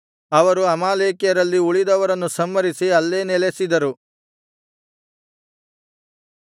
ಅವರು ಅಮಾಲೇಕ್ಯರಲ್ಲಿ ಉಳಿದವರನ್ನು ಸಂಹರಿಸಿ ಅಲ್ಲೇ ನೆಲೆಸಿದರು